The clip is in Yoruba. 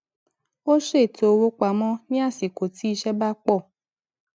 ó ṣètò owó pamọ ní àsìkò tí iṣé bá pò